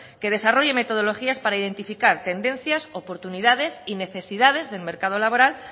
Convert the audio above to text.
que desarrolle metodologías para identificar tendencias oportunidades y necesidades del mercado laboral